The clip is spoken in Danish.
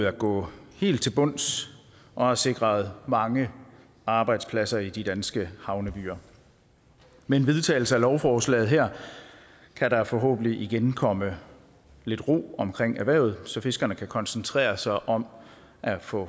at gå helt til bunds og har sikret mange arbejdspladser i de danske havnebyer med en vedtagelse af lovforslaget her kan der forhåbentlig igen komme lidt ro om erhvervet så fiskerne kan koncentrere sig om at få